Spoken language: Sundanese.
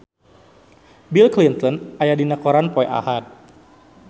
Bill Clinton aya dina koran poe Ahad